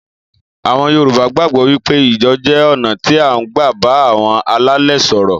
Àwon Yorùbá gbágbò wípé ijó jé oná tí a n gbà bá àwon alálè so'ro